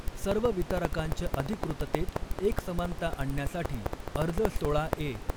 सर्व वितरकांच्या अधिकृततेत एकसमानता आणण्यासाठी अर्ज सोळा ए